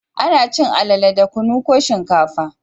Ana cin alale da kunu ko shinkafa